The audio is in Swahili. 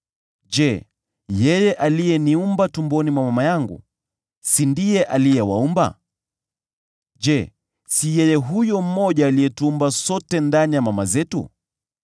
Je, yeye aliyeniumba tumboni mwa mama yangu, si ndiye aliwaumba? Je, si ni yeye huyo mmoja aliyetuumba sote ndani ya mama zetu?